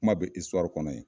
Kuma bɛ kɔnɔ in